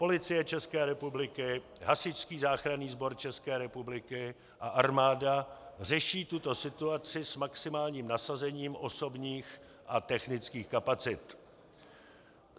Policie České republiky, Hasičský záchranný sbor České republiky a armáda řeší tuto situaci s maximálním nasazením osobních a technických kapacit.